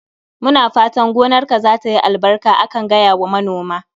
Muna fatan gonarka zatayi albarka akan gaya wa manoma